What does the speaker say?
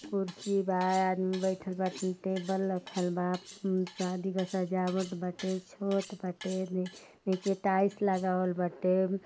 कुर्सी बा आदमी बइठल बा टेबल रखल बा अम्म शादी का सजावट बाटे छत बाटे ने नीचे टाइल्स लगावल बाटे।